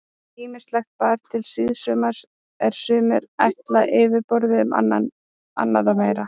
Ýmislegt bar til síðsumars er sumir ætla fyrirboða um annað meira.